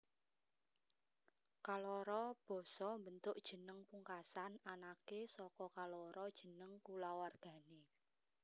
Kaloro basa mbentuk jeneng pungkasan anaké saka kaloro jeneng kulawargané